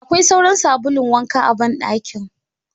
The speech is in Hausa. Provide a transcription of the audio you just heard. Akwai sauran sabulun wanka a ban dakin.